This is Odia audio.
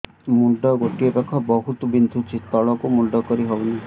ମୁଣ୍ଡ ଗୋଟିଏ ପାଖ ବହୁତୁ ବିନ୍ଧୁଛି ତଳକୁ ମୁଣ୍ଡ କରି ହଉନି